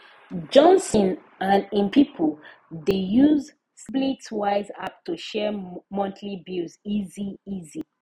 johnson and him people dey use splitwise app to share monthly bills easy easy